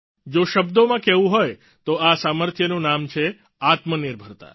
જો શબ્દોમાં કહેવું હોય તો આ સામર્થ્યનું નામ છે આત્મનિર્ભરતા